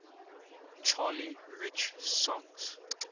charlie rich songs